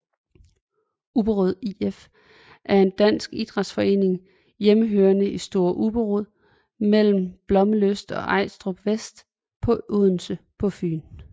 Ubberud IF er en dansk idrætsforening hjemmehørende i Store Ubberud mellem Blommenslyst og Ejlstrup vest for Odense på Fyn